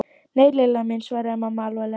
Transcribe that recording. Nei, Lilla mín svaraði mamma alvarleg.